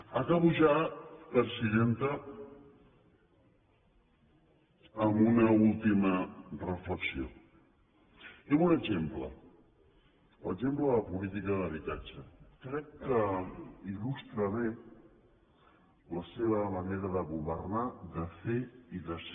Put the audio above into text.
acabo ja presidenta amb una última reflexió i amb un exemple l’exemple de la política d’habitatge que crec que il·lustra bé la seva manera de governar de fer i de ser